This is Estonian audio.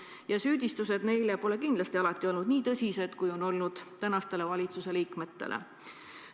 Ja süüdistused neile pole kindlasti alati olnud nii tõsised, kui on olnud praeguse valitsuse liikmetele.